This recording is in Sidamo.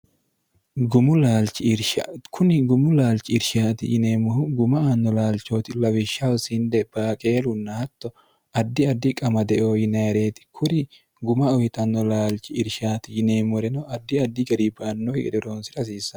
kuni gumu laalchi irshaati yineemmohu guma aanno laalchooti lawishshaho sinde baaqeelunna hatto addi addi qamadeo yinaireeti kuri guma uhixanno laalchi irshaati yineemmoreno addi addi gariibbaannohi ederoonsi'rahasiisao